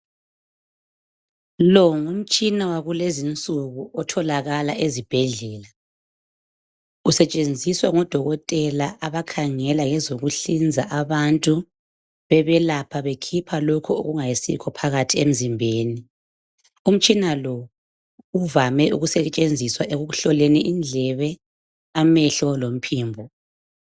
Lo ngumtshina wakulezinsuku otholakala ezibhedlela usetshenziswa ngodokotela abakhangela ngezokuhlinza abantu bebelapha bekhipha lokho okungayisikho phakathi emzimbeni umtshina lo uvame ukusetshenziswa ekuhloleni indlebe amehlo lomphimbo